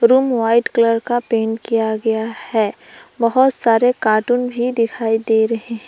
Room white colour का paint किया गया है बहुत सारे कार्टून भी दिखाई दे रहे हैं।